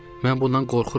Mən bundan qorxuram.